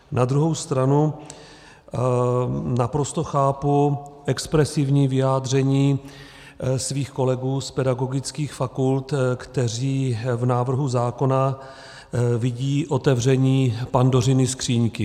Na druhou stranu naprosto chápu expresivní vyjádření svých kolegů z pedagogických fakult, kteří v návrhu zákona vidí otevření Pandořiny skříňky.